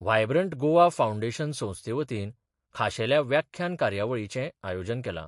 Vibrant Goa foundation संस्थेवतीन खाशेल्या व्याख्यान कार्यावळीचे आयोजन केला.